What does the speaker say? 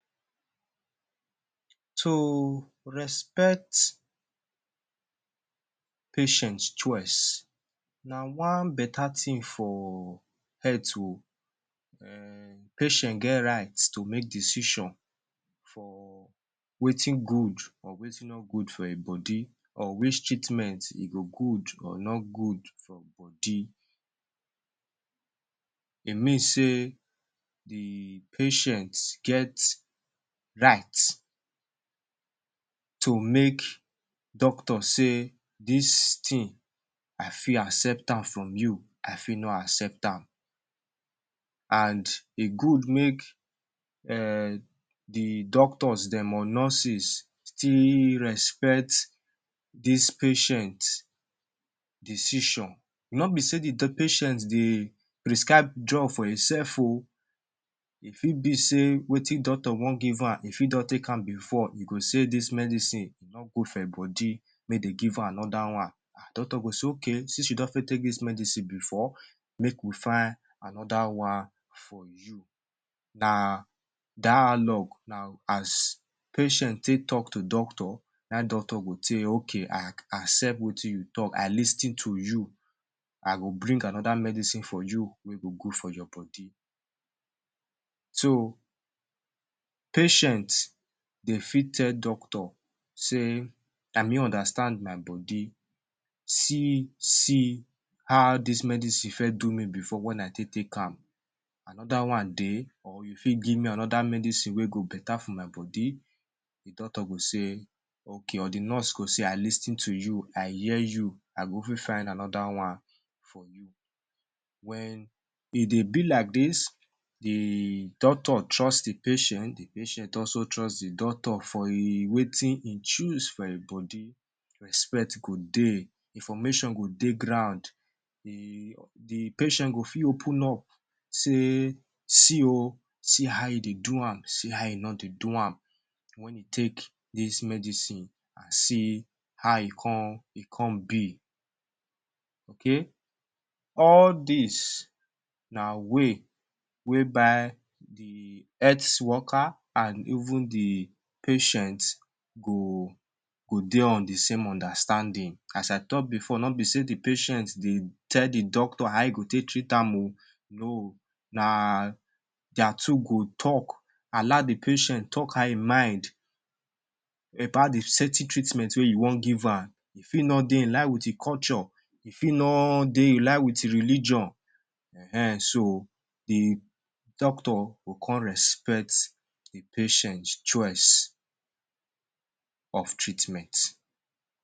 To respect patient choice na one beta tin for health oh. um Patient get right to make decision for wetin good or wetin no good for ein body or which treatment e go good or no good from body. E mean sey the patient get right to make doctor say dis tin, I fit accept am from you, I fit no accept am. An e good make um the doctors dem or nurses still respect dis patient decision. No be sey the patient dey prescribe drug for einsef oh. E fit be sey wetin doctor wan give am e fit don take am before, e go say dis medicine no good for e body make dey give an a another one. Ah doctor go say “Okay since you don fit take dis medicine before, make we find another one for you.” Na dialogue. Na as patient take talk to doctor, na ein doctor go “Okay, I accept wetin you talk, I lis ten to you, I go bring another medicine for you wey go good for your body.” So, patient de fit tell doctor sey na me understand my body. See see how dis medicine first do me before wen I take take am. Another one dey, or you fit give me another medicine wey go beta for my body? The doctor go say “ Okay,” or the nurse go say, “I lis ten to you, I hear you. I go fit find another one for you.” Wen e dey be like dis—the doctor trust the patient, the patient also trust the doctor for e wetin e choose for e body—respect go dey, information go dey ground, the the patient go fit open up sey see oh, see how e dey do am, see how e no dey do am wen e take dis medicine an see how e con e con be. Okay? All dis na way wey by the health worker an even the patient go go dey on the same understanding. As I talk before, no be sey the patient dey tell the doctor how e go take treat am oh. No. Na dia two go talk. Allow the patient talk out ein mind about the certain treatment wey you wan give am. E fit no dey in line with e culture, e fit no dey in line with e religion. Ehn[um]so the doctor go con respect the patient choice of treatment.